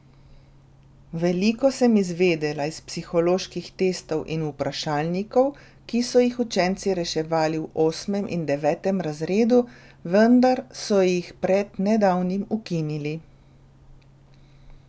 Veliko sem izvedela iz psiholoških testov in vprašalnikov, ki so jih učenci reševali v osmem in devetem razredu, vendar so jih pred nedavnim ukinili.